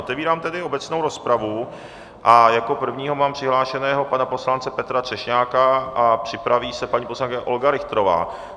Otevírám tedy obecnou rozpravu a jako prvního mám přihlášeného pana poslance Petra Třešňáka a připraví se paní poslankyně Olga Richterová.